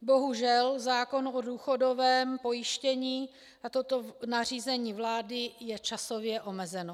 Bohužel, zákon o důchodovém pojištění a toto nařízení vlády je časově omezeno.